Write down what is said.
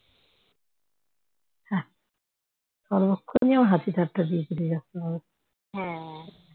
হ্যাঁ সর্বক্ষণই আমার হাসি ঠাট্টা দিয়ে কেটে যাচ্ছে